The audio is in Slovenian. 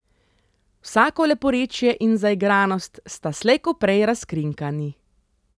Vsako leporečje in zaigranost sta slej ko prej razkrinkani.